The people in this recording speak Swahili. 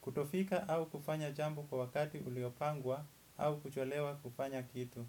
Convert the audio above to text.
kutofika au kufanya jambo kwa wakati uliopangwa au kucholewa kupanya kitu.